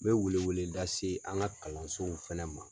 N bɛ wele wele lase an ka kalansow fɛnɛ ma.